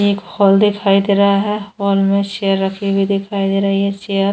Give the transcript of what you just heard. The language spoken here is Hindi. एक हॉल दिखाई दे रहा है हॉल में चेयर रखी हुइ दिखाई दे रहा है चेयर --